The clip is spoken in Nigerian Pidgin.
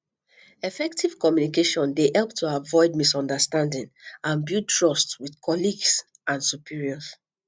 effective communication dey help to avoid misunderstanding and build trust with colleagues and superiors